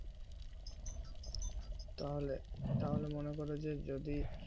তাহলে তাহলে মনো করো যে যদি